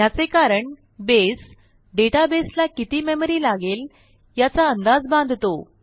ह्याचे कारण बसे डेटाबेसला किती मेमरी लागेल याचा अंदाज बांधतो